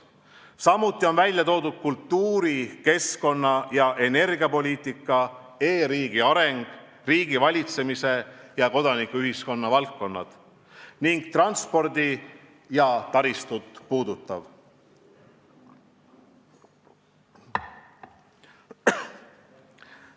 Samuti on välja toodud kultuuri-, keskkonna- ja energiapoliitika, e-riigi areng, riigivalitsemise ja kodanikuühiskonna valdkond ning transporti ja taristut puudutav.